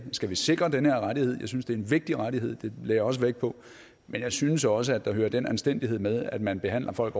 skal vi sikre den her rettighed jeg synes det er en vigtig rettighed det lagde jeg også vægt på men jeg synes også at der hører den anstændighed med at man behandler folk